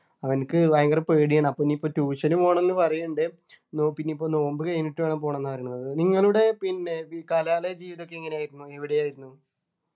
അവനിക്ക് ഭയങ്കര പേടിയാണ് അപ്പൊ ഇനി പ്പോ tuition നു പോണം ന്ന് പറയുണ്ട് നോ പിന്നിപ്പോ നോമ്പ് കഴിഞ്ഞിട്ട് വേണം പോണം എന്ന് പറയുന്നത് നിങ്ങളുടെ പിന്നെ കലാലയ ജീവിതൊക്കെ എങ്ങനെയായിരുന്നു എവിടെ ആയിരുന്നു